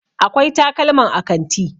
akwai takalman a kanti